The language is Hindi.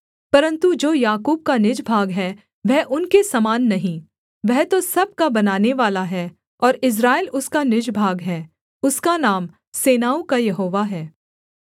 परन्तु जो याकूब का निज भाग है वह उनके समान नहीं वह तो सब का बनानेवाला है और इस्राएल उसका निज भाग है उसका नाम सेनाओं का यहोवा है